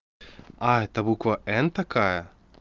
а это буква н такая